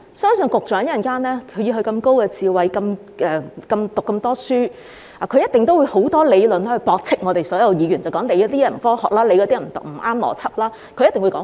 相信以局長這麼高智慧，讀過這麼多書，他稍後一定會有很多理論，駁斥我們所有議員，例如某建議不科學、不合邏輯等。